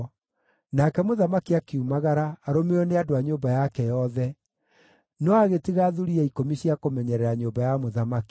Nake mũthamaki akiumagara, arũmĩrĩirwo nĩ andũ a nyũmba yake yothe; no agĩtiga thuriya ikũmi cia kũmenyerera nyũmba ya mũthamaki.